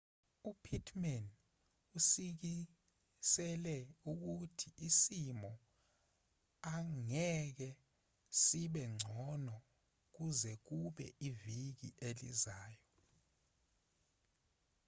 upittman usikisele ukuthi isimo angeke sibe ngcono kuze kube iviki elizayo